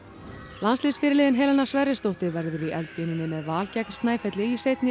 landsliðsfyrirliðinn Helena Sverrisdóttir verður í eldlínunni með Val gegn Snæfelli í seinni